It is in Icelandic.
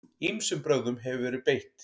Ýmsum brögðum hefur verið beitt.